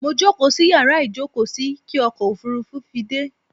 Mo jókóò sí yàrá ìjókóò sí kí ọkò òfurufú fi dẹ́